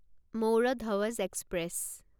মৌৰ ধৱজ এক্সপ্ৰেছ